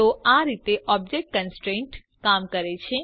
તો આ રીતે ઓબ્જેક્ટ કોન્સ્ટ્રેન્ટ કામ કરે છે